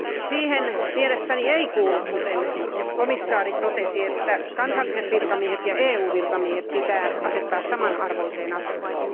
Siihen mielestäni ei kuulu kuten komissaari katsoi että kansalliset virkamiehet ja EU virkamiehet pitää asettaa samanarvoiseen asemaan.